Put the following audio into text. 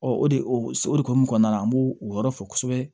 o de o hokumu kɔnɔna na an b'o o yɔrɔ fɔ kosɛbɛ